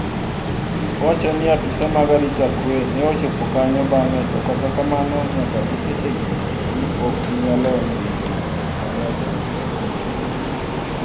Owachoni apisa mag arita kwee ne ochopo kanyo bang'e to kata kamano nyaka gi sechegi eki pok giinyalodhiyo jok maneotimo nek no endo.